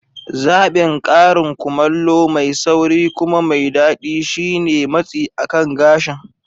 Zaɓin karin kumallo mai sauri kuma mai daɗi shine matsi akan gashin